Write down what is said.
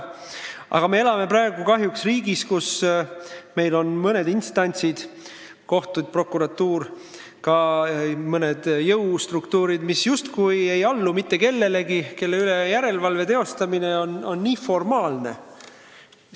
Aga me elame praegu kahjuks riigis, kus meil on mõned instantsid, kohtud ja prokuratuur, ka mõned jõustruktuurid, mis justkui ei allu mitte kellelegi, kelle üle järelevalve teostamine on formaalne.